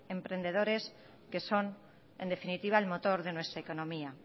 emprendedores que son en definitiva el motor de nuestra economía